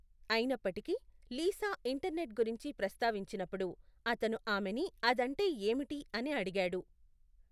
అయినప్పటికీ, Lisa internet గురించి ప్రస్తావించినప్పుడు అతను ఆమెని అదంటే ఏమిటి అని అడిగాడు.